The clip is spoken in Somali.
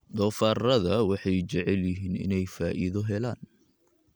Doofaarrada waxay jecel yihiin inay faa'iido helaan.